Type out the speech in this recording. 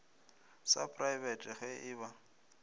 sa praebete ge e ba